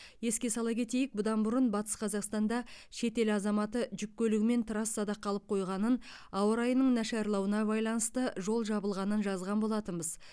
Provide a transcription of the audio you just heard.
еске сала кетейік бұдан бұрын батыс қазақстанда шетел азаматы жүк көлігімен трассада қалып қойғанын ауа райының нашарлауына байланысты жол жабылғанын жазған болатынбыз